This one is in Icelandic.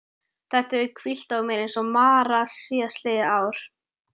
Þetta hefur hvílt á mér eins og mara síðastliðið ár.